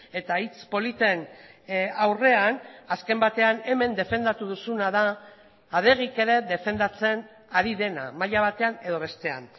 eta hitz politen aurrean azken batean hemen defendatu duzuna da adegik ere defendatzen ari dena maila batean edo bestean